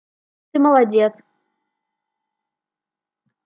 ты молодец